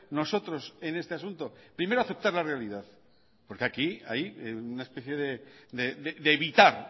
nosotros en este asunto primero aceptar la realidad porque aquí hay una especie de evitar